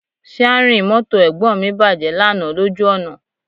Síárìn mọ́tò Ẹ̀gbọ́n mi bàjẹ́ lánàá lójú ọ̀nà